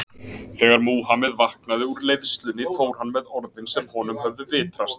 þegar múhameð vaknaði úr leiðslunni fór hann með orðin sem honum höfðu vitrast